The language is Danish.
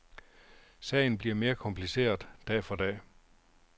Sagen bliver mere kompliceret dag for dag.